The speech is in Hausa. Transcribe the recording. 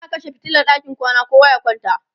za'a kashe fitilan ɗakin kwana kowa ya kwanta